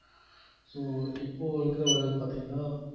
so இப்போ இருக்கிற weather பாத்தீங்கன்னா